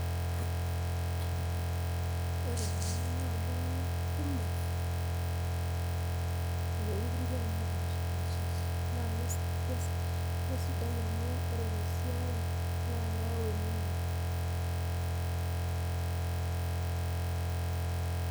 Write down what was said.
ore taa ena naa iltung'ana kumok loo inkutikie napaashipaasha . Naake keaisidai amu Kore te siai naa keyau eningo.